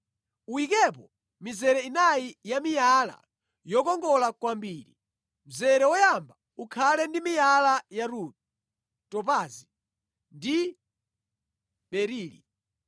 Uyikepo mizere inayi ya miyala yokongola kwambiri. Mzere woyamba ukhale ndi miyala ya rubi, topazi ndi berili.